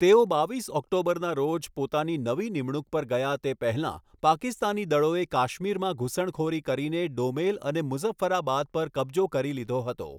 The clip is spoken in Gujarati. તેઓ બાવીસ ઓક્ટોબરના રોજ પોતાની નવી નિમણૂક પર ગયા તે પહેલાં, પાકિસ્તાની દળોએ કાશ્મીરમાં ઘુસણખોરી કરીને ડોમેલ અને મુઝફ્ફરાબાદ પર કબજો કરી લીધો હતો.